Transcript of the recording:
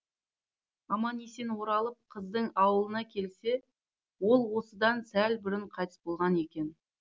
аман есен оралып қыздың ауылына келсе ол осыдан сәл бұрын қайтыс болған екен